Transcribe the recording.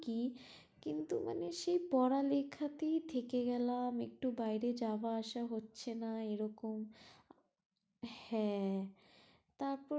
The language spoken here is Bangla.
কি সেই পড়া লেখাতেই থেকে গেলাম একটু বাইরে যাওয়া আসা হচ্ছে না এরকম হ্যাঁ তারপর কি